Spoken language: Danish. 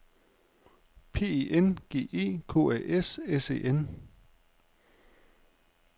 P E N G E K A S S E N